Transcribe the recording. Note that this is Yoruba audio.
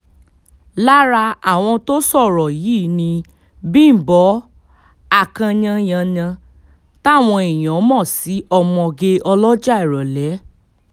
lára àwọn tó sọ̀rọ̀ yìí ni bímbọ a kyanyanya táwọn èèyàn mọ̀ sí ọmọge ọlọ́jà ìrọ̀lẹ́